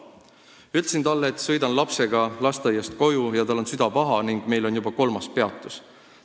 Ma ütlesin talle, et sõidan lapsega lasteaiast koju, tal on süda paha ning meil on juba kolmas peatus.